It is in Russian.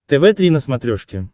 тв три на смотрешке